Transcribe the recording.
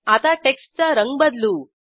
आता टेक्स्टचा रंग बदलू